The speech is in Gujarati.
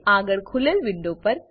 આગળ ખુલેલ વિન્ડો પર